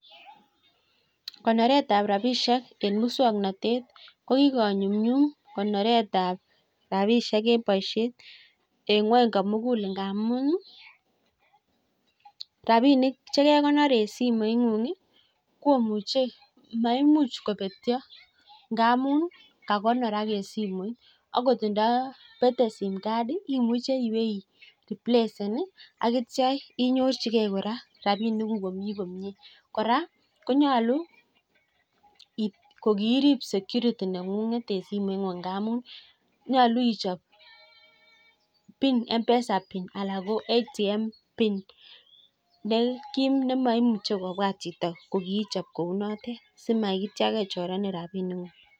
Konoretab rapishek eng muswagnaytet ko kikonyumnyum konoretab rabishek eng boishet eng ng'weny komugul. Ngamun rapinik chekekonor eng simoing'ung komuchei maimuch kopetcho ngamun kakonorak eng simoit. Akot ndapetei sim card imuche iwe ireplacen akitio inyorchikei kora rapinikuk komi komie. Kora konyolu kokiirip security neng'ung, et en simoit ng'ung ngamun nyolu ichop mpesa pin anan ATM pin nekim nemaimuchei chito kobwuat kokiichop kou notet simaitio kechorenen rapinikuk.